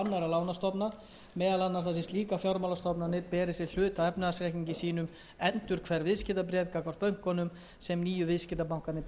lánastofnana meðal annars þar sem slíkar fjármálastofnanir beri sem hluta af efnahagsreikningum sínum endurhverf viðskiptabréf gagnvart gömlu bönkunum sem nýju viðskiptabankarnir bera ekki auk